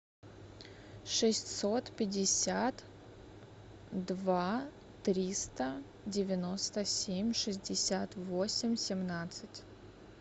шестьсот пятьдесят два триста девяносто семь шестьдесят восемь семнадцать